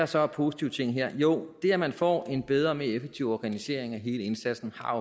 så af positive ting her jo det at man får en bedre og mere effektiv organisering af hele indsatsen har